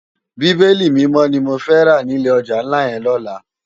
Bibéli Mimò ni mó fè rá ni ilé òjá nlá yèn lòlá